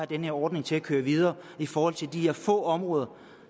den her ordning til at køre videre i forhold til de her få områder